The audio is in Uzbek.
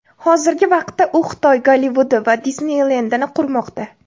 Hozirgi vaqtda u Xitoy Gollivudi va Disneylendini qurmoqda.